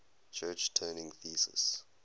church turing thesis